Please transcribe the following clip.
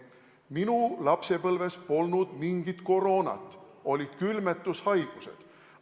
Minu lapsepõlves polnud mingit koroonat, olid külmetushaigused.